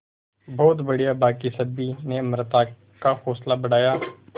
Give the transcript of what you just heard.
बहुत बढ़िया बाकी सभी ने अमृता का हौसला बढ़ाया